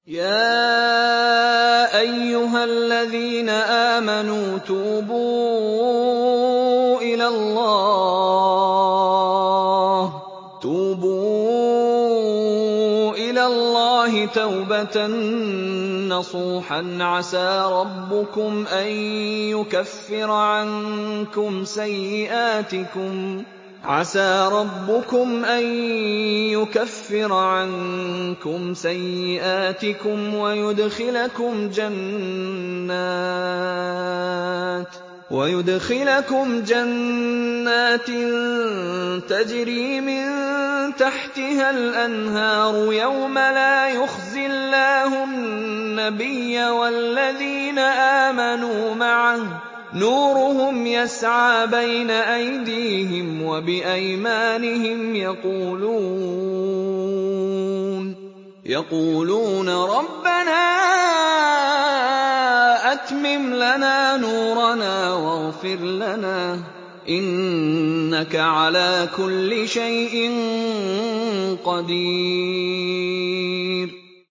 يَا أَيُّهَا الَّذِينَ آمَنُوا تُوبُوا إِلَى اللَّهِ تَوْبَةً نَّصُوحًا عَسَىٰ رَبُّكُمْ أَن يُكَفِّرَ عَنكُمْ سَيِّئَاتِكُمْ وَيُدْخِلَكُمْ جَنَّاتٍ تَجْرِي مِن تَحْتِهَا الْأَنْهَارُ يَوْمَ لَا يُخْزِي اللَّهُ النَّبِيَّ وَالَّذِينَ آمَنُوا مَعَهُ ۖ نُورُهُمْ يَسْعَىٰ بَيْنَ أَيْدِيهِمْ وَبِأَيْمَانِهِمْ يَقُولُونَ رَبَّنَا أَتْمِمْ لَنَا نُورَنَا وَاغْفِرْ لَنَا ۖ إِنَّكَ عَلَىٰ كُلِّ شَيْءٍ قَدِيرٌ